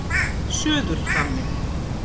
Suðurhvammi